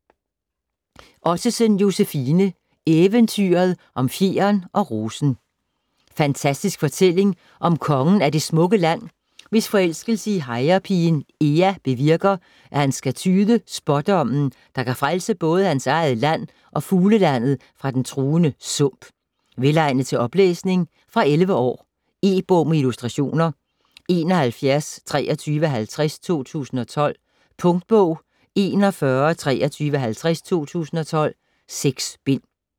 Ottesen, Josefine: Eventyret om fjeren og rosen Fantastisk fortælling om kongen af Det smukke Land, hvis forelskelse i hejrepigen Ea bevirker, at han skal tyde Spådommen, der kan frelse både hans eget land og Fuglelandet fra den truende Sump. Velegnet til oplæsning. Fra 11 år. E-bog med illustrationer 712350 2012. Punktbog 412350 2012. 6 bind.